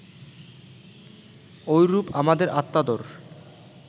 ঐরূপ আমাদের আত্মাদর